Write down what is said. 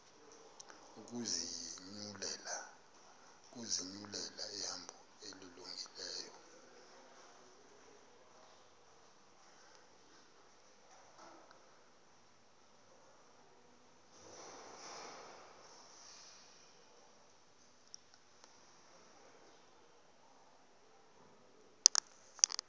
ukuzinyulela ihambo elungileyo